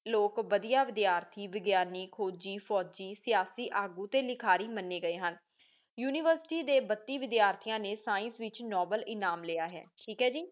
ਲੋਕ ਵਾਧੀਆਂ ਵਿਦਿਆਰਥੀ ਵਿਗਿਆਨੀ ਖੋਜੀ ਫੋਜੀ ਸਯਾਸੀ ਤੇ ਲਿਖਾਰੀ ਮੰਨੀ ਗਏ ਹਨ ਯੂਨੀਵਰਸਿਟੀ ਦੇ ਬਤੀ ਵਿਦਿਆਰਥੀਆਂ ਨੇ ਸ੍ਕਿਏਨ੍ਕੇ ਵਿਚ ਨੋਬਲੇ ਇਨਾਮ ਲਿਆ ਹੈ ਠੀਕ ਐ ਜੀ